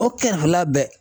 O kɛrɛfɛla bɛɛ